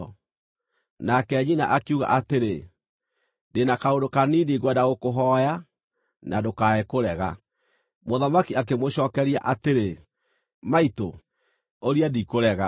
Nake nyina akiuga atĩrĩ, “Ndĩ na kaũndũ kanini ngwenda gũkũhooya, na ndũkae kũrega.” Mũthamaki akĩmũcookeria atĩrĩ, “Maitũ, ũria ndikũrega.”